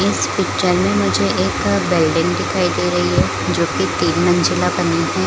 इस पिक्चर में मुझे एक बिल्डिंग दिखाई दे रही है जो की तीन मंजिला बनी है।